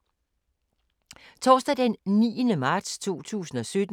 Torsdag d. 9. marts 2017